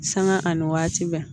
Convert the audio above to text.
Sanga ani waati bɛɛ